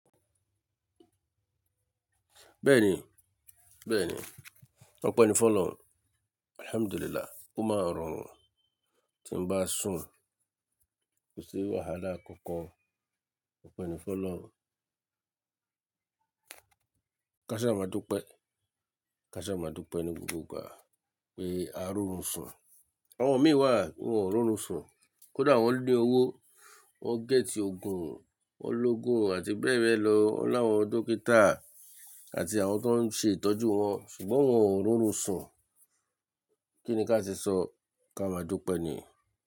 Bẹ́ẹ̀ni, bẹ́ẹ̀ni, Ọpẹ́ ní fọ̀ lọ̀run. Alhamdulillah, ó máa rọrùn tí ń bá sùn, kò sí wàhálà kankan. Ọpẹ́ ní fọ̀lọ̀run. Ká ṣa máa dúpẹ́, ká ṣa máa dúpẹ́ ní gbogbo ìgbà pé a rọrùn sùn. Àwọn mìí wà, wọ́n ò rọrùn sùn. Kódà wọ́n ní owó, wọ́n gẹ́tì òògùn, wọ́n lógún àti bẹ́ẹ̀ bẹ́ẹ̀ lọ, wọ́n láwọn dókítà àti àwọn tó ń ṣe ìtọ́jú wọn ṣùgbọ́n wọ́n ò rọrùn sùn. Kí ni ká ṣe sọ? Ka máa dúpẹ́ ni.